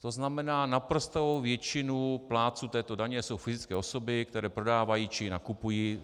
To znamená, naprostou většinou plátců této daně jsou fyzické osoby, které prodávají či nakupují.